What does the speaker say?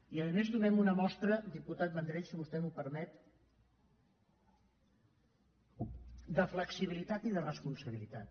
i a més donem una mostra diputat vendrell si vostè m’ho permet de flexibilitat i de responsabilitat